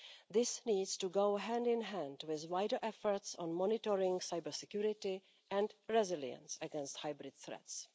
This needs to go hand in hand with wider efforts on monitoring cybersecurity and resilience against hybrid threats.